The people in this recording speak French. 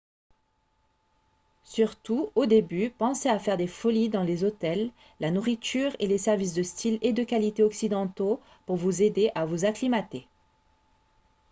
surtout au début pensez à faire des folies dans les hôtels la nourriture et les services de style et de qualité occidentaux pour vous aider à vous acclimater